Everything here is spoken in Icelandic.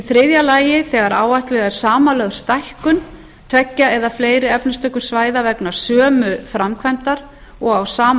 þriðja þegar áætluð er samanlögð stækkun tveggja eða fleiri efnistökusvæða vegna sömu framkvæmdar og á sama